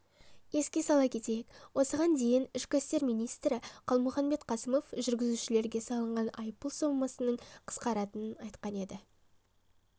еске сала кетейік осыған дейінішкі істер министрі қалмұханбет қасымов жүргізушілерге салынатын айыппұл сомасының қысқаратынын айтқан еді